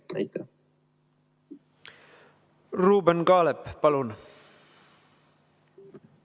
Ruuben Kaalep, palun!